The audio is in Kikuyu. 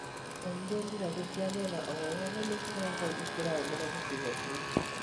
Kaingĩ mbirarũ cia mwena o wothe nĩ ikoragwo ikĩrangĩra gĩcigo kĩu.